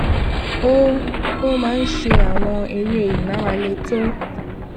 ó ó máa ń ṣe àwọn eré ìmárale tó